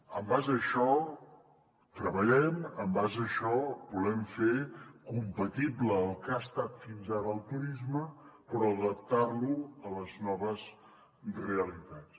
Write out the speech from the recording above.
en base a això treballem en base a això volem fer compatible el que ha estat fins ara el turisme però adaptar lo a les noves realitats